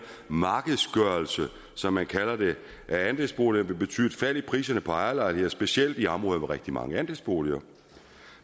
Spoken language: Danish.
markedsgørelse som man kalder det af andelsboliger vil betyde et fald i priserne på ejerlejligheder specielt i områder med rigtig mange andelsboliger